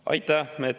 Aitäh!